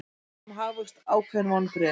Spá um hagvöxt ákveðin vonbrigði